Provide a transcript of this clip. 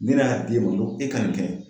Ni ne y'a d'e ma ngo e ka nin kɛ